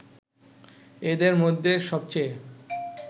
এদের মধ্যে সবচেয়ে